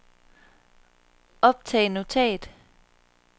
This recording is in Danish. optag notat